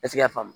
E ti se ka faamu